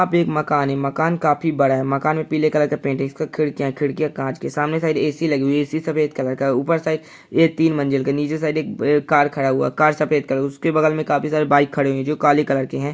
यहाँ पर एक मकान है मकान काफी बड़ा है मकान में पीले कलर से पैंट है इसमें खिड़कियाँ है खिड़कियाँ काँच की है सामने ए.सी. लगी हुआ है ए.सी. सफ़ेद कलर का है ऊपर साइड ये तीन मंज़िल का है नीचे की साइड एक कार खड़ा हुआ है कार सफ़ेद कलर का है उसके बगल मे काफी सारे बाइक्स खड़े हुये जोकि काले कलर के है।